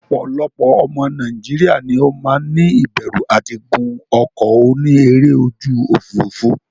Opolopo omo Nigeria ni o maa ni iberu ati gun oko oni ere oju ofurufu.